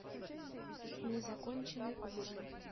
незаконченный ужин